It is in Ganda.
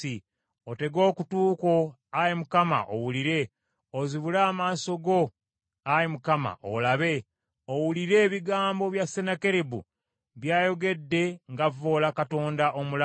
Otege okutu kwo, Ayi Mukama , owulire; ozibule amaaso go Ayi Mukama , olabe; owulire ebigambo bya Sennakeribu, byayogedde ng’avvoola Katonda omulamu.